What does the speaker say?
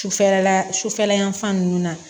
Sufɛla sufɛla yan fan ninnu na